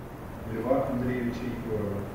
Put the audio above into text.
льва андреевича егорова